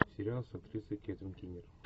сериал с актрисой кэтрин кинер